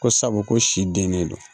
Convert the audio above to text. Ko sabu ko si den ne don